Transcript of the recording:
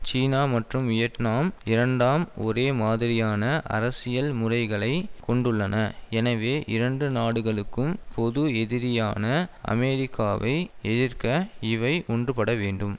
சீனா மற்றும் வியட்நாம் இரண்டாம் ஒரே மாதிரியான அரசியல் முறைகளை கொண்டுள்ளன எனவே இரண்டு நாடுகளுக்கும் பொது எதிரியான அமெரிக்காவை எதிர்க்க இவை ஒன்றுபட வேண்டும்